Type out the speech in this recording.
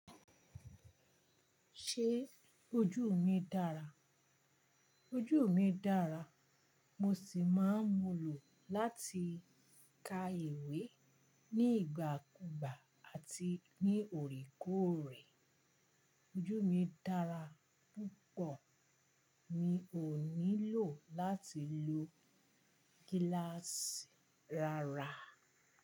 Ṣé ojú mi dára? Ojú mi dára, mo sì máa ń múlò láti ka ìwé ní ìgbà kúùgbà àti ní òrèkóòrè. Ojú mi dára púpọ̀, mi ò nílò láti lo gíláàsì rárá.